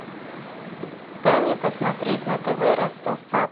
дай мне посмотреть на тв ростов папа